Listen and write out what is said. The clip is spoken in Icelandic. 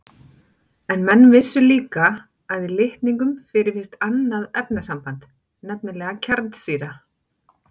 En menn vissu líka að í litningum fyrirfinnst annað efnasamband, nefnilega kjarnsýra.